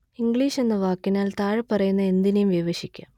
English എന്ന വാക്കിനാല്‍ താഴെപ്പറയുന്ന എന്തിനേം വിവക്ഷിക്കാം